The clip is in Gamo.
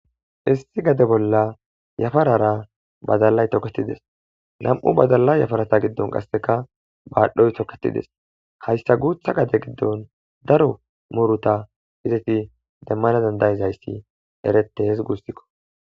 Issi gade bolla yafarara badallay tokettides lam'u badalla yafarata giddon qasseka baadhdhoy tokketides hayssa guutha gade giddon daro muruta izefi demmana dandayizayssi erete hees gussikko